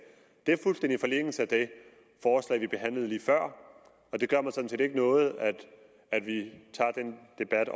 det ligger fuldstændig i forlængelse af det forslag vi behandlede lige før og det gør mig sådan set ikke noget at vi tager den debat